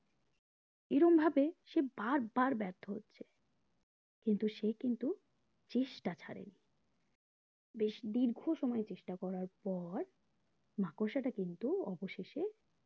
এরমভাবে সে বার বার ব্যার্থ হচ্ছে কিন্তু সে কিন্তু চেষ্টা ছাড়েনি বেশ দীর্ঘ সময় চেষ্টা করার পর মাকড়সাটা কিন্তু অবশেষে